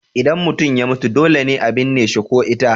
Idan mutum ya mutu dole ne a binne shi ko ita.